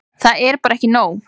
Það er bara ekki nóg.